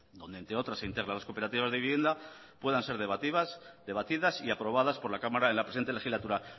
donde entre otras se integran las cooperativas de vivienda puedan ser debatidas y aprobadas por la cámara de la presente legislatura